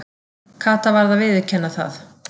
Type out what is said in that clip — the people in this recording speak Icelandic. Kata varð að viðurkenna það.